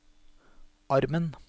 armen